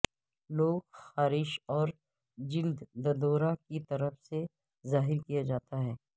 لوگ خارش اور جلد ددورا کی طرف سے ظاہر کیا جاتا ہے